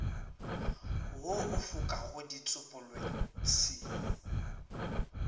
wo o fokago setsopolweng se